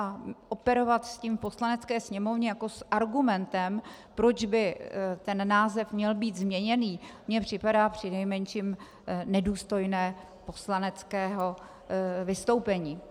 A operovat s tím v Poslanecké sněmovně jako s argumentem, proč by ten název měl být změněný, mi připadá přinejmenším nedůstojné poslaneckého vystoupení.